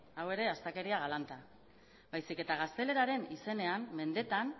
hau ere astakeria galanta baizik eta gazteleraren izenean mendeetan